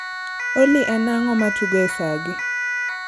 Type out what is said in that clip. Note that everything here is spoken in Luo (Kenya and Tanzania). Olly en ang'o ma tugo e saa gi